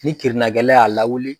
Ni kirinakɛla y'a lawili.